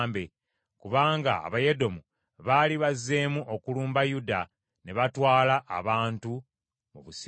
kubanga Abayedomu baali bazeemu okulumba Yuda, ne batwala abantu mu busibe.